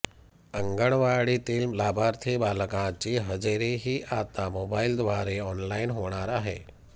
अंगणवाडीतील लाभार्थी बालकांची हजेरीही आता मोबाईलद्वारे ऑनलाईन होणार आहे